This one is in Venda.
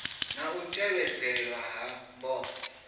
na u tevhedzelwa ha mbofho